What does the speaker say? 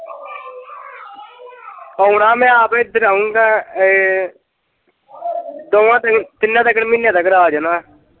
ਆਉਣਾ ਮੈਂ ਆਪ ਇੱਧਰ ਆਊਗਾ ਏ ਦੋਵਾਂ ਤਿੰਨਾਂ ਕ ਮਹੀਨੀਆਂ ਤੱਕ ਆ ਜਾਣਾ।